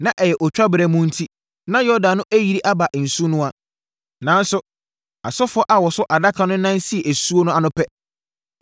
Na ɛyɛ otwaberɛ mu enti na Yordan no ayiri aba nsunoa. Nanso, asɔfoɔ a wɔso Adaka no nan sii asuo no ano pɛ,